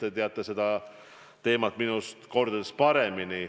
Te teate seda teemat minust kordades paremini.